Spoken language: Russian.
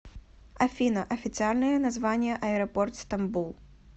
афина официальное название аэропорт стамбул